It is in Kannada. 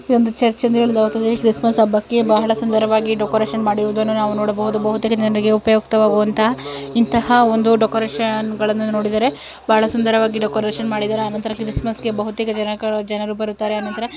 ಇದು ಒಂದು ಚೆರ್ಚ್ ಎಂದು ಹೇಳಲಾಗುತ್ತದೆ ಕ್ರಿಸ್ಮಸ್ ಹಬ್ಬಕ್ಕೆ ಬಹಳ ಸುಂದರವಾಗಿ ಡೆಕೋರೇಷನ್ ಮಾಡಿರುಹುದನ್ನ ನಾವು ನೋಡಬಹುದು ಬಹುತೇಕ ಜನರಿಗೆ ಉಪಯುಕ್ತ ಆಗುವಂತಹ ಇಂತಹ ಒಂದು ಡೆಕೋರೇಷನ್ಗಳ ನೋಡಿದರೆ ಬಹಳ ಸುಂದರವಾಗಿ ಡೆಕೋರೇಷನ್ ಮಾಡಿದರೆ ಆ ನಂತರ ಕ್ರಿಸ್ಮಸ್ ಗೆ ಬಹುತೇಕ ಜನರು ಬರುತ್ತಾರೆ.